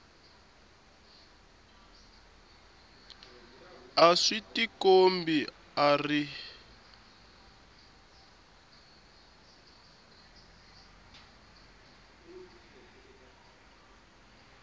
a swi tikombi a ri